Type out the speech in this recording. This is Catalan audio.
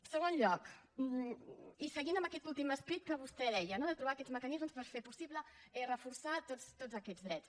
en segon lloc i seguint amb aquest últim esperit que vostè deia no de trobar aquests mecanismes per fer possible reforçar tots aquests drets